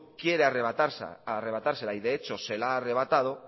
quiere arrebatársela y de hecho se la ha arrebatado